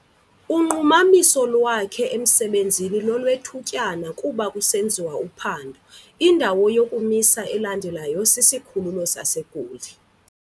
Unqumamiso lwakhe emsebenzini lolwethutyana kuba kusenziwa uphando. indawo yokumisa elandelayo sisikhululo saseGoli